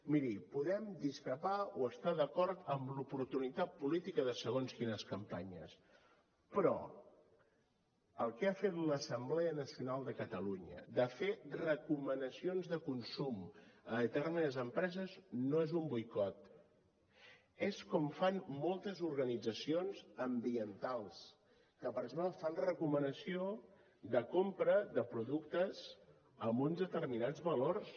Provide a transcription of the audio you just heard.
miri podem discrepar o estar d’acord amb l’oportunitat política de segons quines campanyes però el que ha fet l’assemblea nacional de catalunya de fer recomanacions de consum a determinades empreses no és un boicot és com fan moltes organitzacions ambientals que per exemple fan recomanació de compra de productes amb uns determinats valors